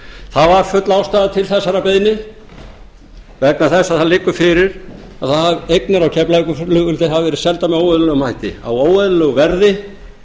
það var full ástæða til þessarar beiðni vegna þess að það liggur fyrir að eignir á keflavíkurflugvelli hafa verið seldar með óeðlilegum hætti á óeðlilegu verði